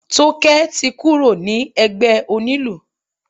Tókẹ́ ti kúrò ní ẹgbẹ́ onílù.